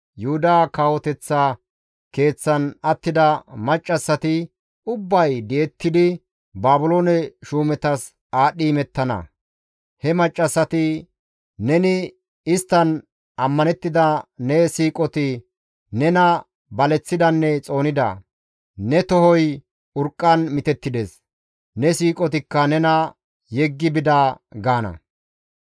Yuhuda kawoteththa keeththan attida maccassati ubbay di7ettidi Baabiloone shuumetas aadhdhi imettana; he maccassati, « ‹Neni isttan ammanettida ne siiqoti nena baleththidanne xoonida; ne tohoy urqqan mitettides; ne siiqotikka nena yeggi bida› gaana.